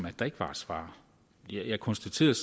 at der ikke var et svar jeg konstaterede